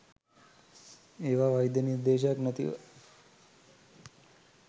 ඒවා වෛද්‍ය නිර්දේශයක් නැතිව